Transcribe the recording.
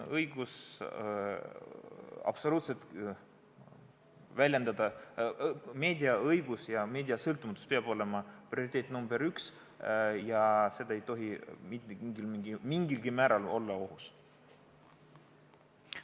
Meedia sõltumatus peab olema prioriteet nr 1 ja see ei tohi mingilgi määral olla ohus.